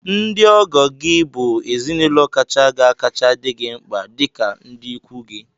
Ndị ọgọ gị bụ ezinaụlọ kacha ga-akacha dị gị mkpa dịka ndị ikwu gị